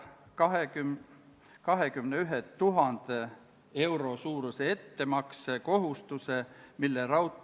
Ka riigikaitsekomisjon juhtivkomisjonina eelnõu kohta keelelisi täpsustusi ei teinud.